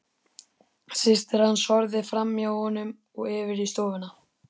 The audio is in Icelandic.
Systir hans horfði framhjá honum og yfir í stofuna.